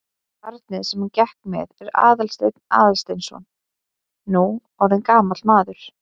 Barnið sem hún gekk með er Aðalsteinn Aðalsteinsson, nú orðinn gamall maður.